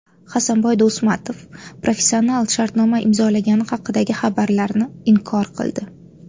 Hasanboy Do‘smatov professional shartnoma imzolagani haqidagi xabarlarni inkor qildi.